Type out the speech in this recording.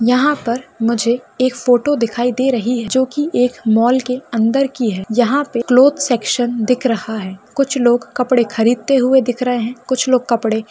यहा पर मुझे एक फोटो दिखाई दे रही है जो की एक मॉल के अंदर की है यहा पे क्लोथ सेक्शन दिख रहा है कुछ लोग कपड़े खरीद ते हुए दिख रहे है कुछ लोग कपड़े--